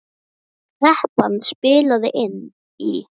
Kreppan spilaði inn í.